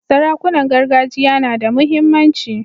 Sarakunan gargajiya na da muhimmanci.